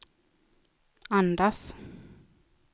andas